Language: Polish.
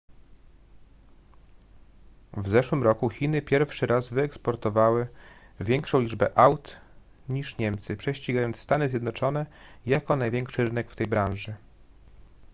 w zeszłym roku chiny pierwszy raz wyeksportowały większą liczbę aut niż niemcy prześcigając stany zjednoczone jako największy rynek w tej branży